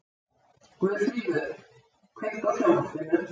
Guðfríður, kveiktu á sjónvarpinu.